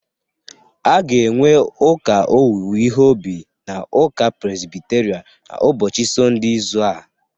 A ga enwe ụka owuwe ihe obi na uka Prezbiterian n'ụbochi Sonde izu a.